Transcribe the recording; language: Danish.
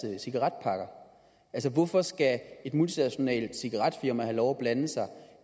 cigaretpakker hvorfor skal et multinationalt cigaretfirma have lov blande sig